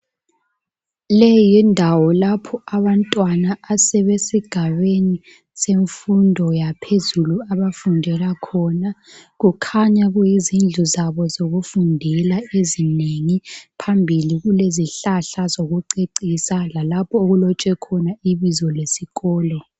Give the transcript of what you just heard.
Leyi yindawo lapho abantwana asebesigabeni semfundo yaphezulu abafundela khona kukhanya kuyizindlu zabo zokufundela ezinengi phambili kulezihlahla zokucecisa lalapho okulotshwe khona ibizo lesikolo.